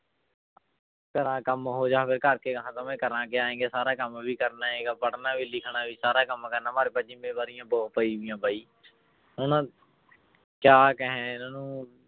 ਕੇਰਾਂ ਕੰਮ ਹੋ ਜਾਵੇ ਕਰਾਂ ਕਿਆ ਕਿ ਸਾਰਾ ਕੰਮ ਵੀ ਕਰਨਾ ਹੈਗਾ ਪੜ੍ਹਨਾ ਵੀ ਲਿਖਣਾ ਵੀ ਸਾਰਾ ਕੰਮ ਕਰਨਾ ਜ਼ਿੰਮੇਵਾਰੀਆਂ ਬਹੁਤ ਪਈਆਂ ਬਾਈ ਹੁਣ ਕਿਆ ਕਹੇ ਇਹਨਾਂ ਨੂੰ